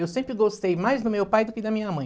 Eu sempre gostei mais do meu pai do que da minha mãe.